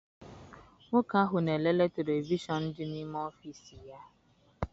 Nwoke ahụ na-elele televishọn dị n'ime ọfịịsi ya.